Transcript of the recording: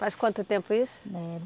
Faz quanto tempo isso? Eh